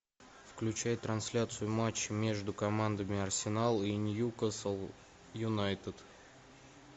включай трансляцию матча между командами арсенал и ньюкасл юнайтед